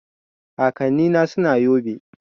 Kakanni na suna yobe